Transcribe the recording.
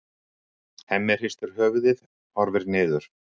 Hemmi hristir höfuðið, horfir niður.